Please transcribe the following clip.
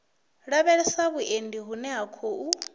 lavhelesa vhuendi vhune ha khou